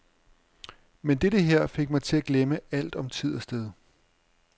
Men dette her fik mig til at glemme alt om tid og sted.